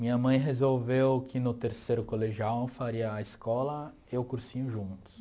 Minha mãe resolveu que no terceiro colegial eu faria a escola e o cursinho juntos.